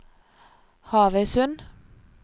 Havøysund